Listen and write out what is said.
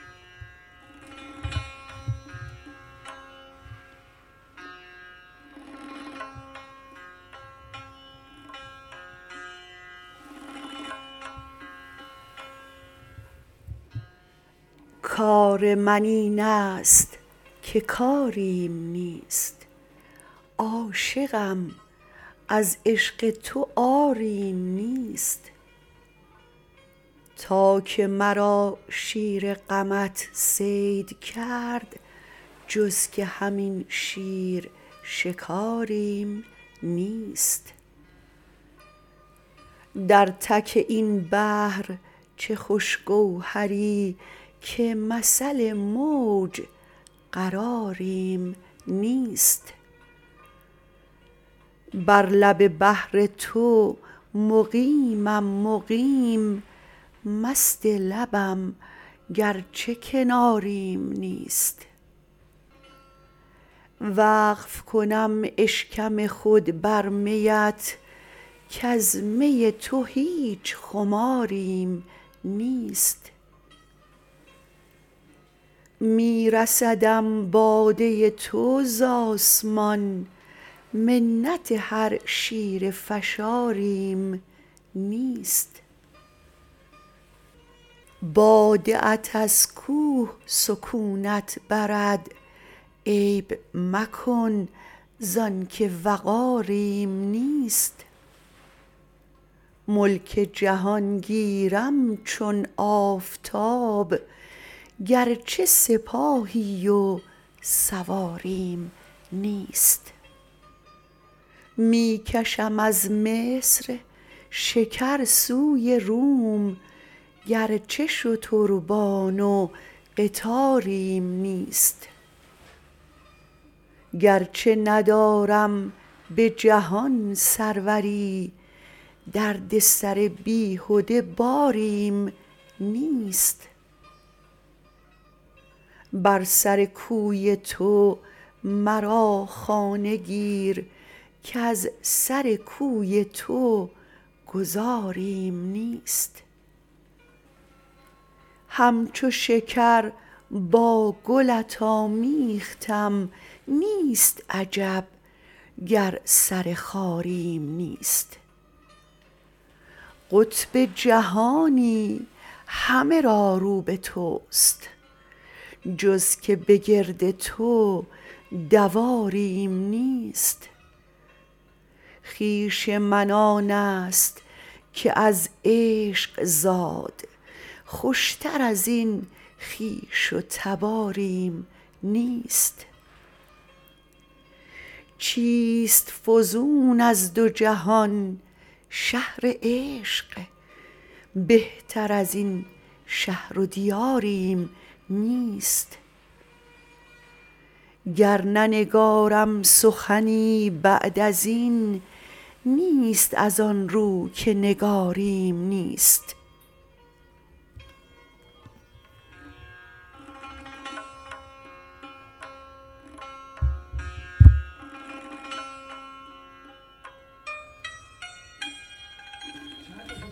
کار من اینست که کاریم نیست عاشقم از عشق تو عاریم نیست تا که مرا شیر غمت صید کرد جز که همین شیر شکاریم نیست در تک این بحر چه خوش گوهری که مثل موج قراریم نیست بر لب بحر تو مقیمم مقیم مست لبم گرچه کناریم نیست وقف کنم اشکم خود بر میت کز می تو هیچ خماریم نیست می رسدم باده تو ز آسمان منت هر شیره فشاریم نیست باده ات از کوه سکونت برد عیب مکن زان که وقاریم نیست ملک جهان گیرم چون آفتاب گرچه سپاهی و سواریم نیست می کشم از مصر شکر سوی روم گرچه شتربان و قطاریم نیست گرچه ندارم به جهان سروری دردسر بیهده باریم نیست بر سر کوی تو مرا خانه گیر کز سر کوی تو گذاریم نیست همچو شکر با گلت آمیختم نیست عجب گر سر خاریم نیست قطب جهانی همه را رو به توست جز که به گرد تو دواریم نیست خویش من آنست که از عشق زاد خوشتر از این خویش و تباریم نیست چیست فزون از دو جهان -شهر عشق بهتر از این شهر و دیاریم نیست گر ننگارم سخنی بعد از این نیست از آن رو که نگاریم نیست